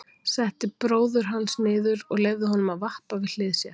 Setti bróður hans niður og leyfði honum að vappa við hlið sér.